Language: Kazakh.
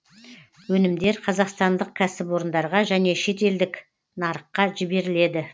өнімдер қазақстандық кәсіпорындарға және шетелдік нарыққа жіберіледі